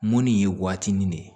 Munni ye waati nin ne ye